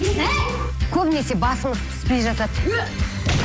әй көбінесе басымыз піспей жатады ө